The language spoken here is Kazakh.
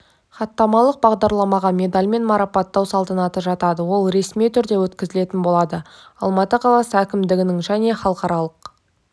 хаттамалық бағдарламаға медальмен марапаттау салтанаты жатады ол ресми түрде өткізілетін болады алматы қаласы әкімдігінің және халықаралық